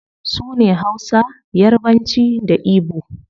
Sune hausa, yarbanci, da igbo